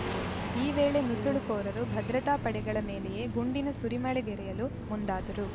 ಈ ವೇಳೆ ನುಸುಳುಕೋರರು ಭದ್ರತಾ ಪಡೆಗಳ ಮೇಲೆಯೇ ಗುಂಡಿನ ಸುರಿಮಳೆಗೆರೆಯಲು ಮುಂದಾದರು